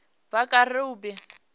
vhakerube